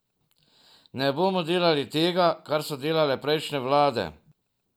Ne bomo delali tega, kar so delale prejšnje vlade.